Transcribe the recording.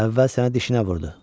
Əvvəl sənə dişinə vurdu.